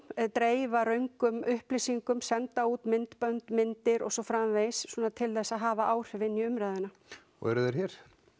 dreifa röngum upplýsingum senda út myndbönd myndir og svo framvegis til þess að hafa áhrif inn i umræðuna og eru þeir hér